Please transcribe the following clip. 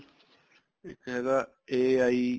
ਇੱਕ ਹੈਗਾ AI